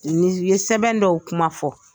Nin ye sɛbɛn dɔw kuma fɔ.